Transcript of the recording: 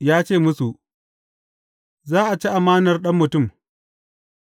Ya ce musu, Za a ci amanar Ɗan Mutum,